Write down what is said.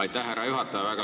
Aitäh, härra juhataja!